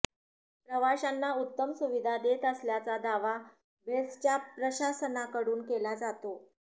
प्रवाशांना उत्तम सुविधा देत असल्याचा दावा बेस्टच्या प्रशासनाकडून केला जातो